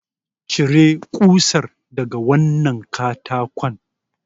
Cire kusar daga wannan katakon!